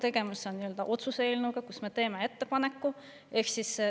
Tegemist on otsuse eelnõuga, kus me teeme ettepaneku.